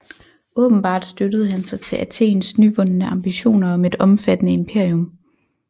Åbenbart støttede han sig til Athens nyvundne ambitioner om et omfattende imperium